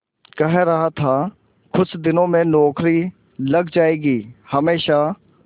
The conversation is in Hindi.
कह रहा था कुछ दिनों में नौकरी लग जाएगी हमेशा